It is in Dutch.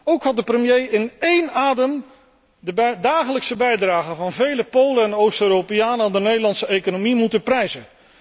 Ook had de premier in één adem de dagelijkse bijdragen van vele Polen en Oost Europeanen aan de Nederlandse economie moeten prijzen.